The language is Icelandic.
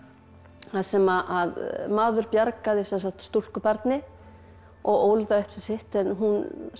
þar sem maður bjargaði stúlkubarni og ól það upp sem sitt en hún